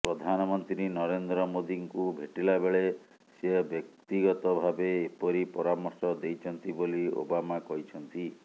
ପ୍ରଧାନମନ୍ତ୍ରୀ ନରେନ୍ଦ୍ର ମୋଦିଙ୍କୁ ଭେଟିଲା ବେଳେ ସେ ବ୍ୟକ୍ତିଗତ ଭାବେ ଏପରି ପରାମର୍ଶ ଦେଇଛନ୍ତି ବୋଲି ଓବାମା କହିଛନ୍ତି